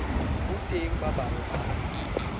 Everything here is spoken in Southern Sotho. ho teng ba bang ba